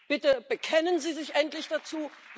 Bitte bekennen Sie sich endlich dazu!